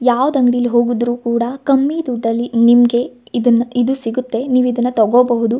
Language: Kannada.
ಯಾವದ್ ಅಂಗಡಿಲಿ ಹೋಗುದ್ರು ಕೂಡ ಕಮ್ಮಿ ದುಡ್ಡಲ್ಲಿ ನಿಮ್ಮಗೆ ಇದನ್ನ ಇದು ಸಿಗುತ್ತೆ ನೀವಿದನ್ನಾ ತೋಕೋಬಹುದು.